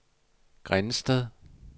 Grindsted